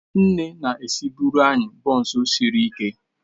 Nne na-esibuere anyị bonsu sirike.